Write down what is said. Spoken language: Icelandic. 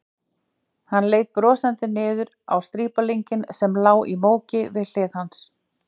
Hann leit brosandi niður á strípalinginn sem lá í móki við hlið hans.